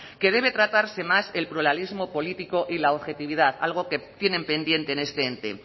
que debe tratarse más el pluralismo político y la objetividad algo que tienen pendiente en este ente